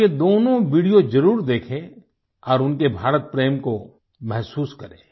आप ये दोनों वीडियो ज़रूर देखें और उनके भारत प्रेम को महसूस करें